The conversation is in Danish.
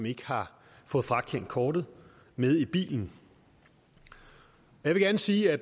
ikke har fået frakendt kortet med i bilen jeg gerne sige at